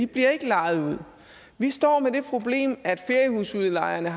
bliver lejet ud vi står med det problem at feriehusudlejerne